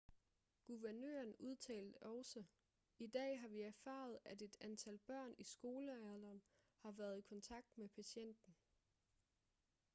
guvernøren udtalte også i dag har vi erfaret at et antal børn i skolealderen har været i kontakt med patienten